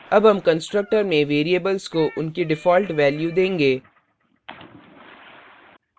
अब हम constructor में variables को उनकी default value देंगे